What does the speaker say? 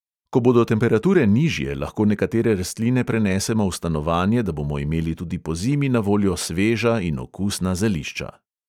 Ko bodo temperature nižje, lahko nekatere rastline prenesemo v stanovanje, da bomo imeli tudi pozimi na voljo sveža in okusna zelišča.